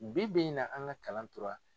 Bi bi in na an ka kalan tora